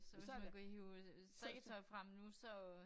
Så hvis man kunne hive øh strikketøj frem nu så øh